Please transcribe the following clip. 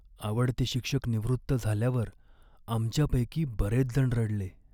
आवडते शिक्षक निवृत्त झाल्यावर आमच्यापैकी बरेचजण रडले.